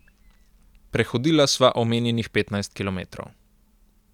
Prehodila sva omenjenih petnajst kilometrov.